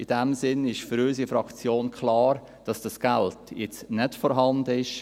In diesem Sinne ist für unsere Fraktion klar, dass dieses Geld jetzt nicht vorhanden ist.